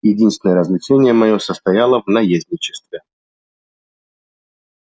единственное развлечение моё состояло в наездничестве